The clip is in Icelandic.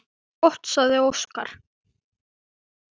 Gott, sagði Óskar.